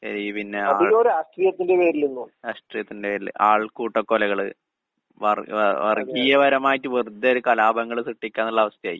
പെരുകി. പിന്നെ രാഷ്ട്രീയത്തിന്റെ പേരില്. ആൾക്കൂട്ട കൊലകള്, വർ ഏഹ് വർഗീയപരമായിട്ട് വെറുതെ ഒരു കലാപങ്ങള് സൃഷ്ടിക്കുകാന്നുള്ള അവസ്ഥയായി.